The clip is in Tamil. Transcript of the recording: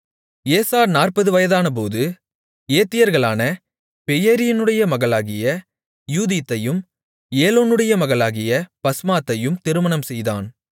ஏசா 40 வயதானபோது ஏத்தியர்களான பெயேரியினுடைய மகளாகிய யூதீத்தையும் ஏலோனுடைய மகளாகிய பஸ்மாத்தையும் திருமணம்செய்தான்